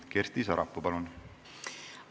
Kersti Sarapuu, palun!